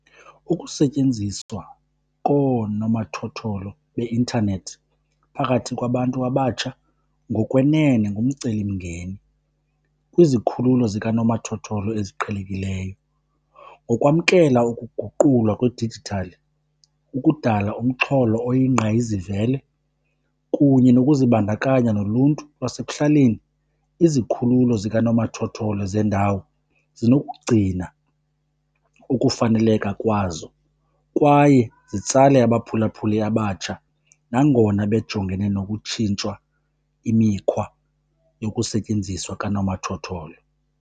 Ukusetyenziswa koonomathotholo beintanethi phakathi kwabantu abatsha ngokwenene ngumcelimngeni kwizikhululo zikanomathotholo eziqhelekileyo. Ngokwamkela ukuguqulwa kwedijithali, ukudala umxholo oyingqayizivele kunye nokuzibandakanya noluntu lwasekuhlaleni, izikhululo zikanomathotholo zeendawo zinokugcina ukufaneleka kwazo kwaye zitsale abaphulaphuli abatsha nangona bejongene nokutshintshwa imikhwa yokusetyenziswa kanomathotholo.